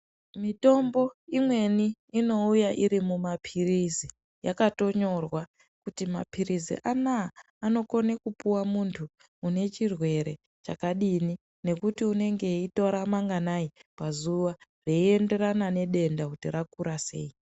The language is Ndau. Mitombo imweni inouya iri mumapirizi, yakatonyorwa kuti mapirizi anaa anokona kupuwa muntu unechirwere chakadini. Nekuti unenge eitora manganai pazuwa, zveienderana nedenda kuti rakura sei.